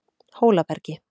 Hólabergi